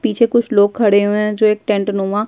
पीछे कुछ लोग खड़े हुए हैं जो एक टेंटनुमा --